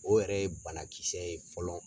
O yɛrɛ ye banakisɛ ye fɔlɔ.